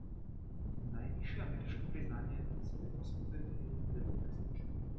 Najvišje ameriško priznanje so letos podelili devetnajstič.